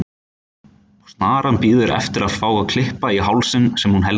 Og snaran bíður eftir að fá að kippa í hálsinn sem hún heldur um.